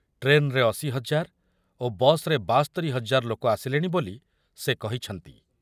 ଟ୍ରେନରେ ଅଶି ହଜାର ଓ ବସରେ ବାସ୍ତୋରି ହଜାର ଲୋକ ଆସିଲେଣି ବୋଲି ସେ କହିଛନ୍ତି।